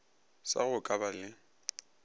sa go ka ba le